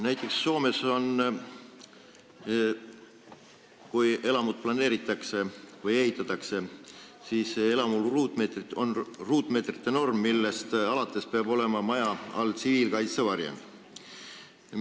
Näiteks Soomes on nii, et kui elamut planeeritakse või ehitatakse, siis on ruutmeetrite norm, millest alates peab olema maja all tsiviilkaitsevarjend.